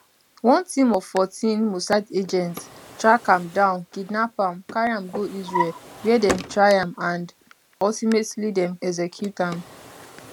one team of 14 mossad agents track am down kidnap am carry am go israel wia dem try am and ultimately dem execute am